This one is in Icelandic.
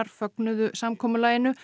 fögnuðu samkomulaginu